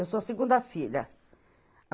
Eu sou a segunda filha.